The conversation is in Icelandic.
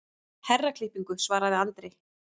Herraklippingu, svaraði Andri.